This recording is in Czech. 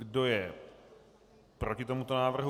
Kdo je proti tomuto návrhu?